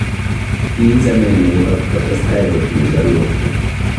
Kii chamene ibak kotestai kotinye chalwokto